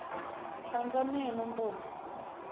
hlantswa meno ntombi